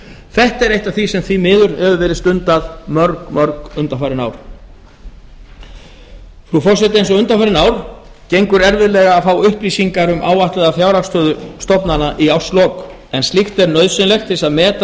þetta er eitt af því sem því miður hefur verið stundað mörg undanfarin ár frú forseti eins og undanfarin ár gengur erfiðlega að fá upplýsingar um áætlaða fjárhagsstöðu stofnana í árslok en slíkt er nauðsynlegt til að meta